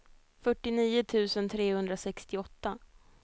fyrtionio tusen trehundrasextioåtta